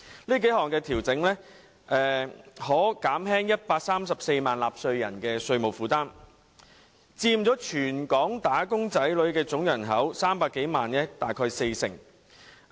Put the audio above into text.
這幾項調整可減輕134萬名納稅人的稅務負擔，他們佔全港"打工仔女"總人口300多萬人大概四成。